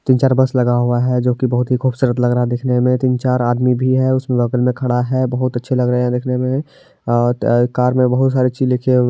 तीन-चार बस लगा हुआ है जो की बहुत ही खुबसूरत लग रहा है देखने में | तीन-चार आदमी भी है उसके बगल में खड़ा है | बहुत अच्छे लग रहे हैं देखने में | अ त कार में बहुत सारे चीज़ लिखे हु --